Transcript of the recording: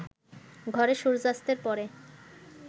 ঘরে সূর্যাস্তের পরে